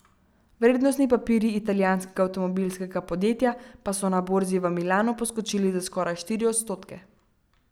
Vrednostni papirji italijanskega avtomobilskega podjetja pa so na borzi v Milanu poskočili za skoraj štiri odstotke.